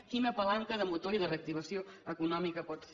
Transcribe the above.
quina palanca de motor i de reactivació econòmica pot ser